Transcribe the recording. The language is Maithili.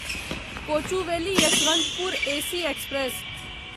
Kochuveli Yesvantpur AC express